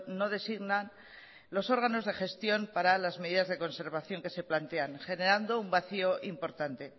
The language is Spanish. no designan los órganos de gestión para las medidas de conservación que se plantean generando un vacío importante